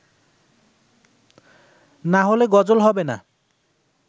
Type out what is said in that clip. না হলে গজল হবে না